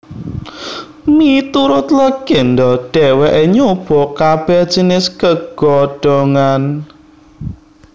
Miturut legenda dheweke nyoba kabeh jinis gegodhongan